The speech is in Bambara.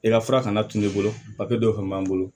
I ka fura kana tunun bolo dɔ fɛnɛ b'an bolo